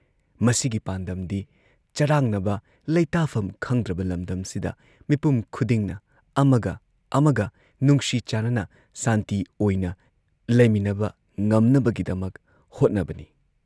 ꯃꯁꯤꯒꯤ ꯄꯥꯟꯗꯝꯗꯤ ꯆꯔꯥꯡꯅꯕ ꯂꯩꯇꯥꯐꯝ ꯈꯪꯗ꯭ꯔꯕ ꯂꯝꯗꯝꯁꯤꯗ ꯃꯤꯄꯨꯝ ꯈꯨꯗꯤꯡꯅ ꯑꯃꯒ ꯑꯃꯒ ꯅꯨꯡꯁꯤ ꯆꯥꯟꯅꯅ ꯁꯥꯟꯇꯤ ꯑꯣꯏꯅ ꯂꯩꯃꯤꯟꯅꯕ ꯉꯝꯅꯕꯒꯤꯗꯃꯛ ꯍꯣꯠꯅꯕꯅꯤ ꯫